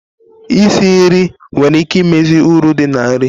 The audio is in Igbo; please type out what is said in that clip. Isi nri nwere ike imezi uru dị na nri.